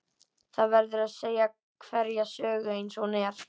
Það verður að segja hverja sögu eins og hún er.